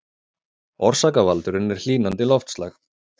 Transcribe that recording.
Orsakavaldurinn er hlýnandi loftslag